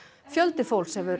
fjöldi fólks hefur